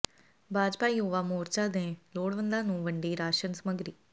ਭਾਜਪਾ ਯੂਵਾ ਮੋਰਚਾ ਨੇ ਲੋੜਵੰਦਾਂ ਨੂੁੰ ਵੰਡੀ ਰਾਸ਼ਨ ਸਮੱਗਰੀ